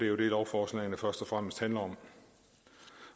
jo det lovforslagene først og fremmest handler om